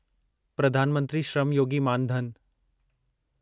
Pradhan Mantri Shram Yogi Maan Dhan